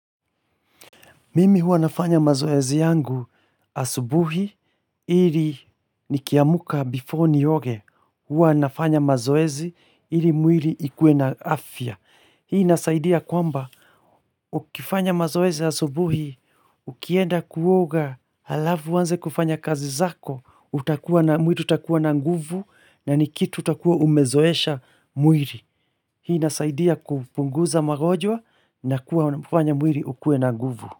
Mimi huwa nafanya mazoezi yangu asubuhi ili nikiamka before nioge huwa nafanya mazoezi ili mwili ikuwe na afya. Hii inasaidia kwamba ukifanya mazoezi asubuhi ukienda kuoga halafu uanze kufanya kazi zako utakuwa na mwili utakuwa na nguvu na ni kitu utakuwa umezoesha mwili. Hii inasaidia kupunguza magonjwa na kuufanya mwili ukue na nguvu.